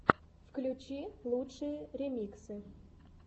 включи лучшие ремиксы